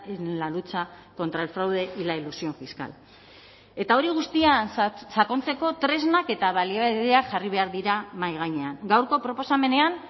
en la lucha contra el fraude y la elusión fiscal eta hori guztian sakontzeko tresnak eta baliabideak jarri behar dira mahai gainean gaurko proposamenean